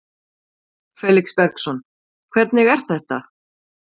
Felix Bergsson: Hvernig er þetta?